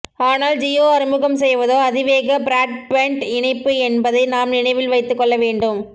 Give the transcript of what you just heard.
ஆனால் ஜியோ அறிமுகம்செய்வதோ அதிகவேக பிராட்பேண்ட் இணைப்பு என்பதை நாம் நினைவில் வைத்துக்கொள்ள வேண்டும்